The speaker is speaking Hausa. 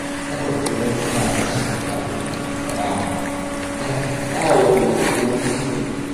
Kawai idan kana son abu ka saya, kar ka tsaya wani ruwan ido.